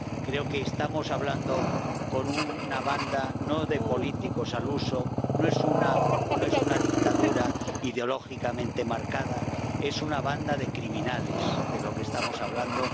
Creo que estamos hablando con una banda, no de políticos al uso, no es una dictadura ideológicamente marcada es una banda de criminales de lo que estamos hablando